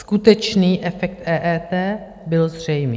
Skutečný efekt EET byl zřejmý.